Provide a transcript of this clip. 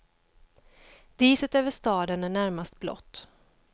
Diset över staden är närmast blått.